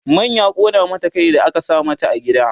man ya ƙona mata Kai da aka sa mata a gida